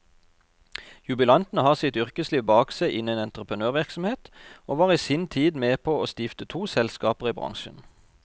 Jubilanten har sitt yrkesliv bak seg innen entreprenørvirksomhet, og var i sin tid var med på å stifte to selskaper i bransjen.